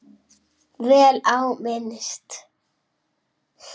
Vel á minnst.